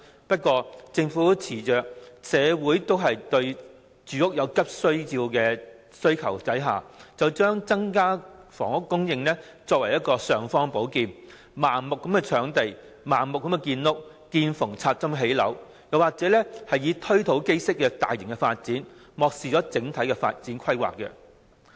不過，政府恃着社會對住屋有急切的需求，便將增加房屋供應作為"尚方寶劍"，盲目搶地、"見縫插針"地盲目建屋，或進行"推土機式"的大型發展，漠視整體發展規劃。